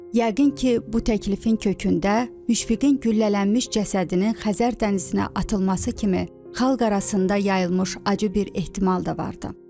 Yəqin ki, bu təklifin kökündə Müşfiqin güllələnmiş cəsədinin Xəzər dənizinə atılması kimi xalq arasında yayılmış acı bir ehtimal da vardı.